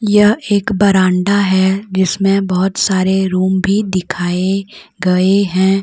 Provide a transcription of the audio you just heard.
यह एक बरांडा है जिसमें बहुत सारे रूम भी दिखाए गए हैं।